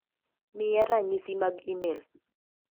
miya ranyisi mag imel .